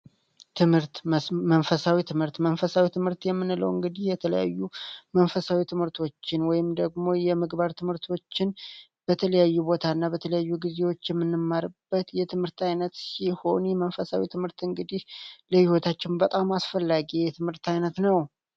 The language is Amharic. ትምህርት መንፈሳዊ ትምህርት መንፈሳዊ ትምህርት የምንለው እንግዲህ የተለያዩ መንፈሳዊ ትምህርቶችን ወይም ደግሞ የምግባር ትምህርቶችን በተለያዩ ቦታ እና በተለያዩ ጊዜዎች የምንማርበት የትምህርት ዓይነት ሲሆን፤ የመንፈሳዊ ትምህርት እንግዲህ ለህይወታችን በጣም አስፈላጊ የትምህርት ዓይነት ነው።